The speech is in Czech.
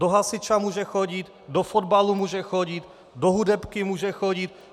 Do hasiče může chodit, do fotbalu může chodit, do hudebky může chodit.